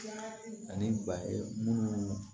Ani ba ye munnu